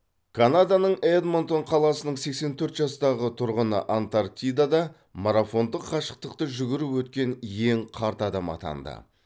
канаданың эдмонтон қаласының сексен төрт жастағы тұрғыны антарктидада марафондық қашықтықты жүгіріп өткен ең қарт адам атанды